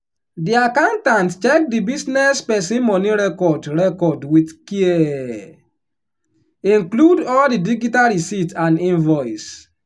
di accountant check di business person money record record with caree include all di digital receipt and invoice.